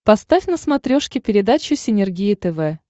поставь на смотрешке передачу синергия тв